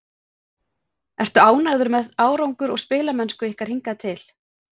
Ertu ánægður með árangur og spilamennsku ykkar hingað til?